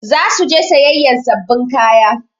Za su je sayayyan sababbin kaya.